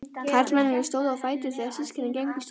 Karlmennirnir stóðu á fætur þegar systkinin gengu í stofuna.